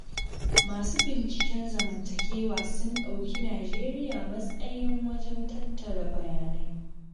Masu binciken zamantakewa sun ɗauki Nijeriya matsayin wajen tattara bayanai.